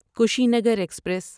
Kushinagar express